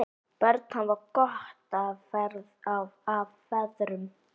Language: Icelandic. Börn hafa gott af feðrum.